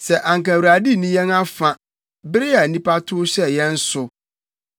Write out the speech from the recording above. Sɛ anka Awurade nni yɛn afa bere a nnipa tow hyɛɛ yɛn so,